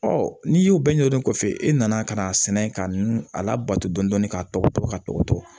Ɔ n'i y'u bɛɛ ɲɛdɔn kɔfɛ e nana ka n'a sɛnɛ ka nu a labato dɔɔnin dɔɔnin k'a tɔgɔ to ka tɔgɔ to